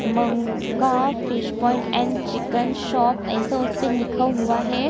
मनका fish point and chicken shop ऐसा उसपे लिखा हुआ है।